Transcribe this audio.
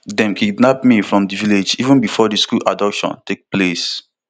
dem kidnap me from di village even before di school abduction take place